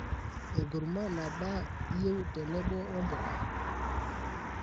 enkurma nabaa iyieu tenebo o mbuka